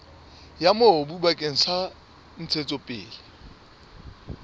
ya mobu bakeng sa ntshetsopele